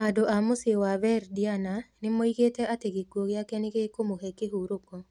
Andũ a mũciĩ wa Verdiana nĩ moigĩte atĩ gĩkuũ gĩake nĩ gĩkũmũhe kĩhurũko